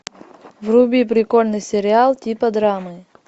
вруби прикольный сериал типа драмы